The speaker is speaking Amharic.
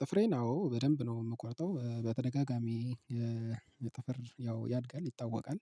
ጥፍሬን አዎ በደንብ ነው የምቆርጠው በተደጋጋሚ ጥፍር ያው ያድጋል ይታወቃል።